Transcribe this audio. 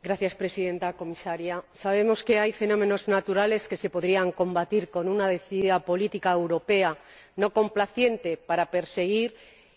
Señora Presidenta, señora Comisaria, sabemos que hay fenómenos naturales que se podrían combatir con una decidida política europea no complaciente, para perseguir